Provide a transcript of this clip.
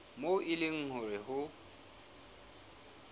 moo e leng hore ho